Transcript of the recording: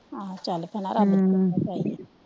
ਆਹੋ ਚਲ ਭੈਣਾਂ ਰੱਬ ਦੀ ਕਿਰਪਾ ਈ ਚਾਹੀਦਾ